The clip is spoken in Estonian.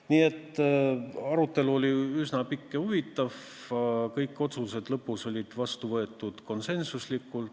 Nii et arutelu oli üsna pikk ja huvitav, aga kõik otsused said lõpuks konsensuslikult vastu võetud.